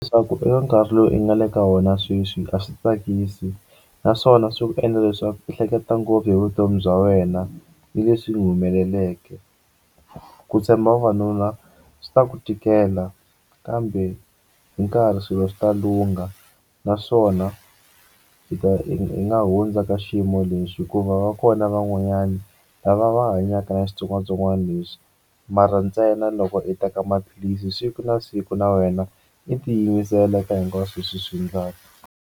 Leswaku eka nkarhi lowu i nga le ka wona sweswi a swi tsakisi naswona swi endla leswaku i hleketa ngopfu hi vutomi bya wena ni leswi n'wi humeleleke ku tshemba vavanuna swi ta ku tikela kambe hi nkarhi swilo swi ta lungha naswona i ta i nga hundza ka xiyimo lexi hikuva va kona van'wanyana lava va hanyaka na xitsongwatsongwana lesxi mara ntsena loko i teka maphilisi siku na siku na wena i tiyimisela eka hinkwaswo leswi i swi endlaka.